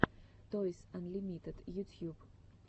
тойс анлимитед ютьюб